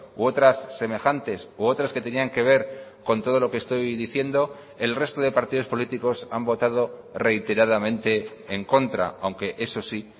u otras semejantes u otras que tenían que ver con todo lo que estoy diciendo el resto de partidos políticos han votado reiteradamente en contra aunque eso sí